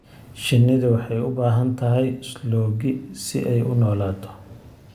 Shinnidu waxay u baahan tahay sloggi si ay u noolaato.